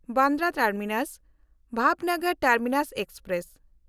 Bandra ᱴᱟᱨᱢᱤᱱᱟᱥ–ᱵᱷᱟᱵᱷᱱᱚᱜᱚᱨ terminus express